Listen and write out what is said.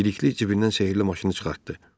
Bəlikli cibindən sehrli maşını çıxartdı.